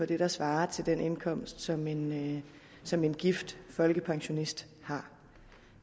det der svarer til den indkomst som en som en gift folkepensionist har